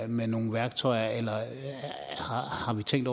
med nogle værktøjer eller hvad har man tænkt